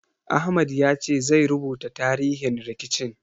Ahmad ya ce zai rubuta tarihin rikicin.